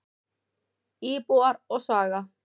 Íbúar og saga.